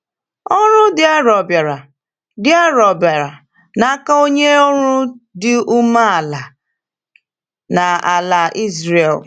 Ọrụ dị arọ bịara dị arọ bịara n’aka onye ọrụ dị umeala a n’ala Ịzrel.